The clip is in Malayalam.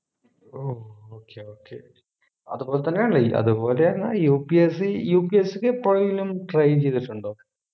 ഓ okay okay അതുപോലെതന്നെ അല്ലെ ഈ അതുപോലെ എന്നെ UPSCUPSC ക്കു എപ്പോഴേലും try ചെയ്തിട്ടുണ്ടോ